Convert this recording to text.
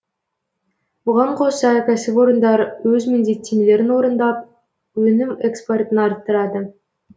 бұған қоса кәсіпорындар өз міндеттемелерін орындап өнім экспортын арттырады